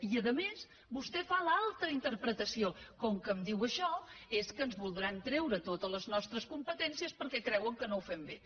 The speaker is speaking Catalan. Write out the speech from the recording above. i a més vostè fa l’altra interpretació com que em diu això és que ens voldran treure totes les nostres competències perquè creuen que no ho fem bé